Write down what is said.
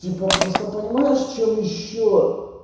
типа просто понимаешь что мы ещё